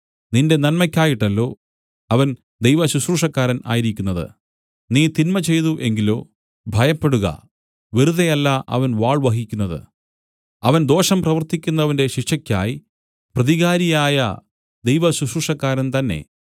നിന്റെ നന്മയ്ക്കായിട്ടല്ലോ അവൻ ദൈവശുശ്രൂഷക്കാരൻ ആയിരിക്കുന്നത് നീ തിന്മ ചെയ്തു എങ്കിലോ ഭയപ്പെടുക വെറുതെ അല്ല അവൻ വാൾ വഹിക്കുന്നതു അവൻ ദോഷം പ്രവർത്തിക്കുന്നവന്റെ ശിക്ഷയ്ക്കായി പ്രതികാരിയായ ദൈവശുശ്രൂഷക്കാരൻ തന്നേ